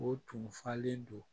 O tun falen don